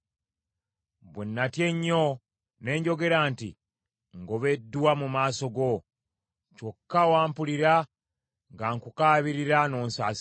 Bwe natya ennyo ne njogera nti, “Ngobeddwa mu maaso go.” Kyokka wampulira nga nkukaabirira n’onsaasira.